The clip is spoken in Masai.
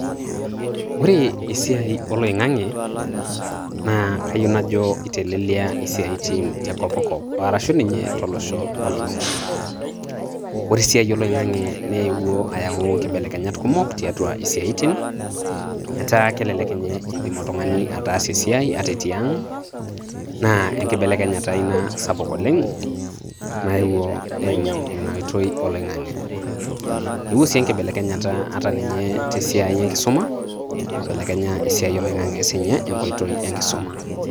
Ore esiai oloing`ang`e naa kayieu najo eitelelia isiaitin te kop kop o arashu ninye to losho ololulung`a. Ore esiai oloing`ang`e neewuo ayau nkibelekenyat kumok tiatua isiaitin etaa kelelek ninye idim oltung`ani ataasa esiai ata etii ang. Naa enkibelekenyata ina sapuk oleng naewuo eimu ina oitoi oloing`ang`e. Eewuo sii enkibelekenyata ata te siai e nkisuma, eibelekenya esiai oloing`ang`e sii ninye te nkoitoi e nkisuma.